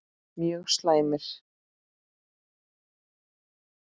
Mjög slæmir